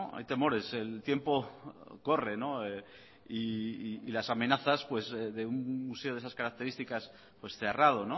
hay temores el tiempo corre y las amenazas de un museo de esas características cerrado